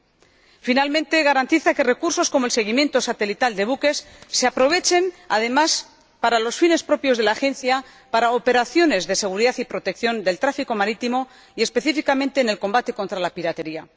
Por último, el informe garantiza que recursos como el seguimiento satelital de buques se aprovechen, además, para los fines propios de la Agencia, para operaciones de seguridad y protección del tráfico marítimo y, específicamente, en el combate contra la piratería.